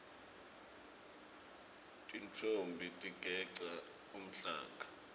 tintfombi tigeca umhlanga